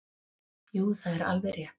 Jú það er alveg rétt.